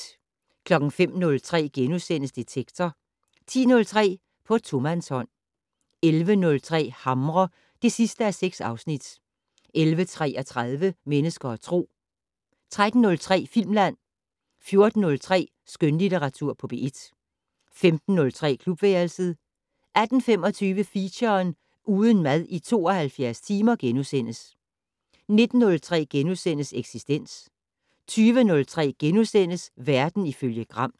05:03: Detektor * 10:03: På tomandshånd 11:03: Hamre (6:6) 11:33: Mennesker og Tro 13:03: Filmland 14:03: Skønlitteratur på P1 15:03: Klubværelset 18:25: Feature: Uden mad i 72 timer * 19:03: Eksistens * 20:03: Verden ifølge Gram *